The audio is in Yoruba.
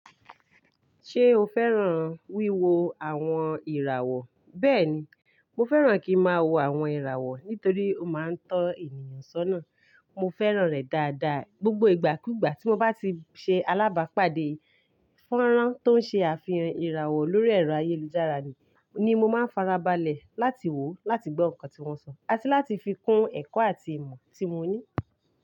Ṣé o fẹ́ràn wíwo àwọn ìràwọ̀? Bẹ́ẹ̀ni, mo fẹ́ràn kí ń máa wo àwọn ìràwọ̀ nítorí ó máa ń tọ́ ènìyàn sọ́nà. Mo fẹ́ràn rẹ̀ dáadáa, gbogbo ìgbàkúgbà tí mo bá ti ṣe alábàápàdé fọ́nrán tó ń ṣe àfihàn ìràwọ̀ lórí ẹ̀rọ ayélujára ni, ni mo máa ń farabalẹ̀ láti wò ó, láti gbọ́ nǹkan tí wọ́n sọ, àti láti fi kún ẹ̀kọ́ àti ìmọ̀ tí mo ní.